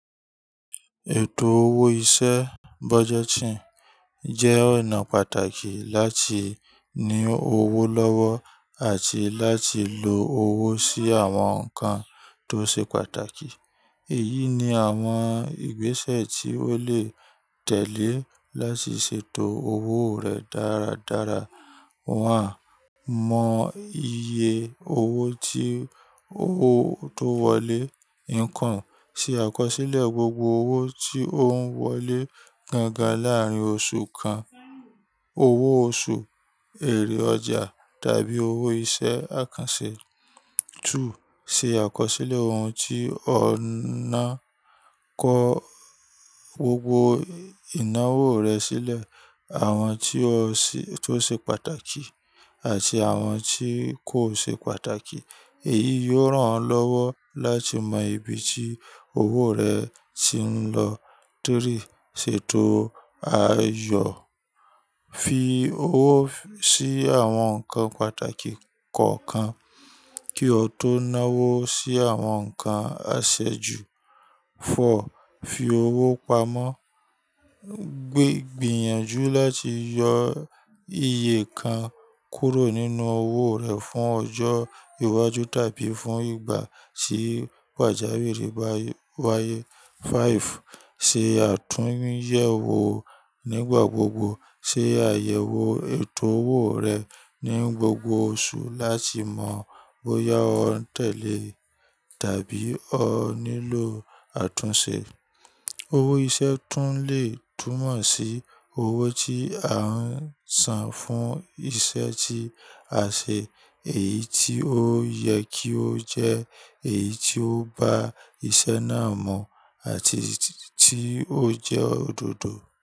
Ètò owó iṣẹ́ budgeting jẹ́ ọ̀nà pàtàkì láti ní owó lọ́wọ́ àti láti lo owó sí àwọn nǹkan tó ṣe pàtàkì. Èyí ni àwọn ìgbésẹ̀ tí ó lè tẹ̀lé láti ṣètò owó rẹ dáradára. Wàá mọ iye owó tí ó tó wọlé. Ìkan, ṣe àkọsílẹ̀ gbogbo owó tí ó ń wọlé gangan láàárín oṣù kan. Owó oṣù, èrè ọjà tàbí owó iṣẹ́ àkànṣe. Túù ṣe àkọsílẹ̀ ohun tí ọ̀ ń ná, kọ́ gbogbo ìnáwó rẹ sílẹ̀, àwọn tí ó ṣe pàtàkì àti àwọn tí kò ṣe pàtàkì. Èyí yóò ràn ọ́ lọ́wọ́ láti mọ ibi tí owó rẹ ti ń lọ. Tiríì, ṣètò àayò, fi owó sí àwọn nǹkan pàtàkì kọ̀ọ̀kan kí o tó náwó sí àwọn nǹkan àṣejù. Fọ̀ọ́, fi owó pamọ́, gbìyànjú láti yọ iye kan kúrò nínú owó rẹ fún ọjọ́ iwájú tàbí fún ìgbà tí pàjàwìrì bá wáyé. Fáìfù, ṣe àtúnyẹ̀wò nígbà gbogbo. Ṣe àyẹ̀wò ètò owó rẹ ní gbogbo oṣù láti mọ bóyá o ń tẹ̀lé tàbí o nílò àtúnṣe. Owó iṣẹ́ tún lè túmọ̀ sí owó tí a ń san fún iṣẹ́ tí a ṣe, èyí tí ó yẹ kí ó jẹ́, èyí tí ó ba iṣẹ́ náà mú àti tí ó jẹ́ òdodo.